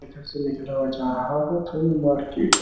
इधर से निकला हुआ जा रहा था तो ये मार्केट --